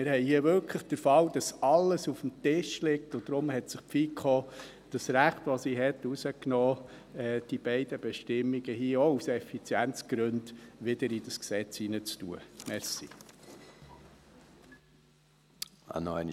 Wir haben hier wirklich den Fall, dass alles auf dem Tisch liegt, und deshalb hat sich die FiKo das Recht, das sie hat, herausgenommen, diese beiden Bestimmungen hier aus Effizienzgründen wieder ins Gesetz aufzunehmen.